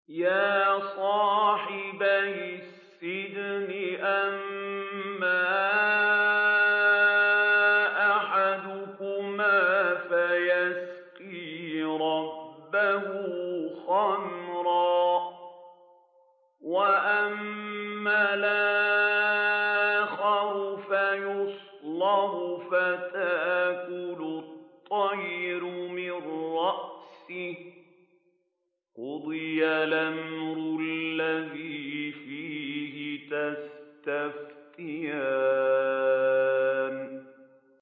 يَا صَاحِبَيِ السِّجْنِ أَمَّا أَحَدُكُمَا فَيَسْقِي رَبَّهُ خَمْرًا ۖ وَأَمَّا الْآخَرُ فَيُصْلَبُ فَتَأْكُلُ الطَّيْرُ مِن رَّأْسِهِ ۚ قُضِيَ الْأَمْرُ الَّذِي فِيهِ تَسْتَفْتِيَانِ